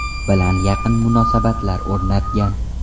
bilan yaqin munosabatlar o‘rnatgan.